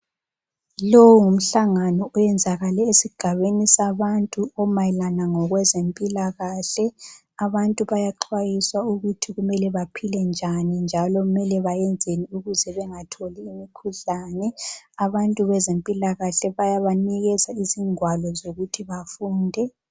Lowu ngumhlangano oyenzakale esigabeni sabantu omayelana ngokwezempilakahle. Abantu bayaxhwayiswa ukuthi kumele baphile njani njalo mele bayenzeni ukuze bengatholi imikhuhlane. Abantu bezempilakahle bayabanikeza izingwalo ukuthi bafunde.